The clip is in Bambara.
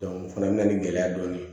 o fana bɛna nin gɛlɛya dɔɔni